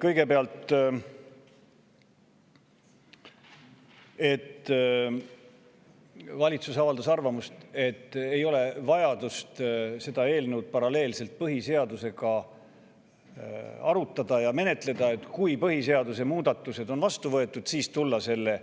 Kõigepealt avaldas valitsus arvamust, et ei ole vaja seda eelnõu arutada ja menetleda paralleelselt põhiseaduse, et kui põhiseaduse muudatused on vastu võetud, siis võiks selle